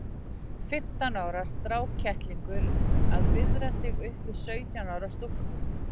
Fimmtán ára strákkettlingur að viðra sig upp við sautján ára stúlku!